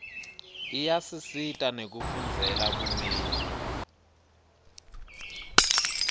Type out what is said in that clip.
iyasisita nekufundzela bumeli